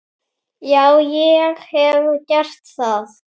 Já, ég hef gert það.